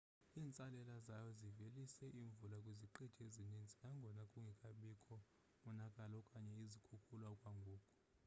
iintsalela zayo zivelise imvula kwiziqithi ezininzi nangona kungekabikho monakalo okanye izikhukula okwangoku